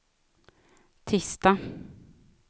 tisdag